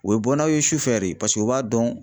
U bɛ bɔ n'aw ye sufɛ de paseke u b'a dɔn